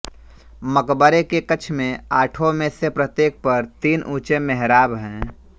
मकबरे के कक्ष में आठों में से प्रत्येक पर तीन ऊंचे मेहराब हैं